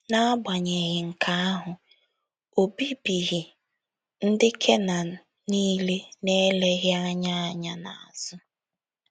N’agbanyeghị nke ahụ, o bibighị ndị Kenan niile n’eleghị anya anya n’azụ.